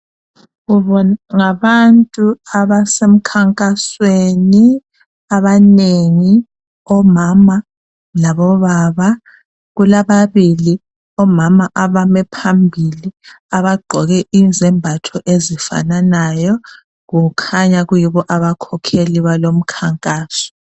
Ngabantu abasemkhankasweni abanengi omama labo baba kulababili omama abame phambili abagqoke izembatho ezifananayo kukhanya kuyibo abakhokheli balomkhankaso.